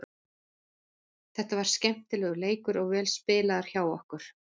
Þetta var skemmtilegur leikur og vel spilaður hjá okkur.